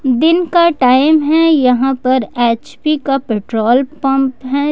दिन का टाइम है यहां पर एच पी का पेट्रोल पंप है ।